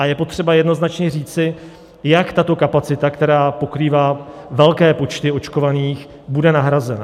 A je třeba jednoznačně říci, jak tato kapacita, která pokrývá velké počty očkovaných, bude nahrazena.